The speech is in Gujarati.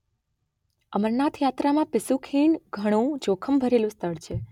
અમરનાથ યાત્રામાં પિસ્સૂ ખીણ ઘણું જોખમ ભરેલું સ્થળ છે.